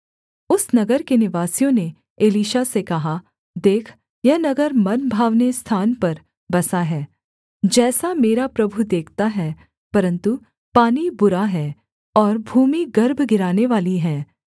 उस नगर के निवासियों ने एलीशा से कहा देख यह नगर मनभावने स्थान पर बसा है जैसा मेरा प्रभु देखता है परन्तु पानी बुरा है और भूमि गर्भ गिरानेवाली है